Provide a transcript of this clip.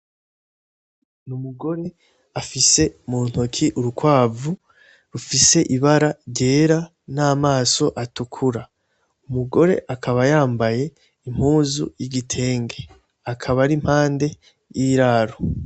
N'umugore afise muntoke urukwavu rufise ibara ryera ,n' amaso atukura; umugore akaba yambaye impuzu y' igitenge, akaba ar'impande y'iraro.